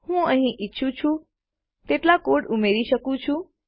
હું અહીં ઈચ્છું તેટલો કોડ ઉમેરી શકું છું